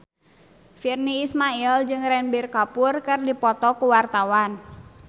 Virnie Ismail jeung Ranbir Kapoor keur dipoto ku wartawan